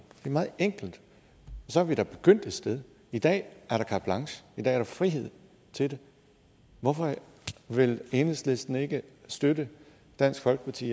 er meget enkelt og så er vi da begyndt et sted i dag er der carte blanche i dag er der frihed til det hvorfor vil enhedslisten ikke støtte dansk folkeparti